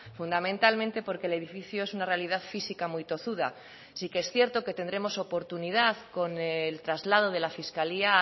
fundamentalmente porque el edificio es una realidad física muy tozuda sí que es cierto que tendremos oportunidad con el traslado de la fiscalía a